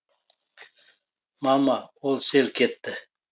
мама ол селк етті